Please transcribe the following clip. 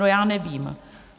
No já nevím.